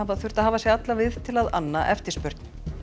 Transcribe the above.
þurfa að hafa sig alla við til að anna eftirspurn